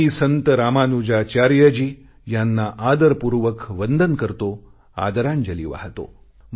मी संत रामानुजाचार्यजी यांना आदरपूर्वक वंदन करतो आदरांजली वाहतो